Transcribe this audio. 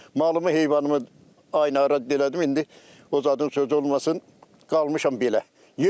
Malımı heyvanımı aynara elədim, indi o zadın sözü olmasın, qalmışam belə.